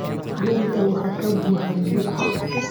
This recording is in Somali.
Dheriga waxaa ka buuxa biyo